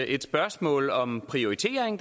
et spørgsmål om prioritering